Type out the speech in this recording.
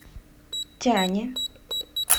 тяне